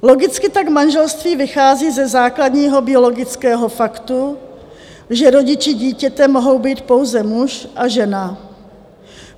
Logicky tak manželství vychází ze základního biologického faktu, že rodiči dítěte mohou být pouze muž a žena.